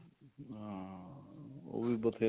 ਹਾਂ ਉਹ ਵੀ ਬਥੇਰਾ